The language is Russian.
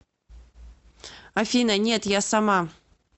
афина нет я сама